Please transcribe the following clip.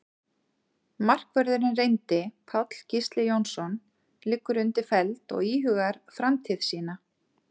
Markvörðurinn reyndi Páll Gísli Jónsson liggur undir feld og íhugar framtíð sína.